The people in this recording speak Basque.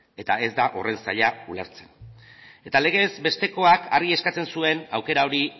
eta ez da horren zaila ulertzea eta legez bestekoak argi eskatzen duen aukera hori